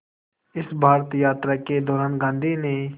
इस भारत यात्रा के दौरान गांधी ने